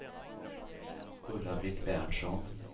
Ulla-Britt Berntsson